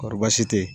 Kɔrɔ baasi tɛ yen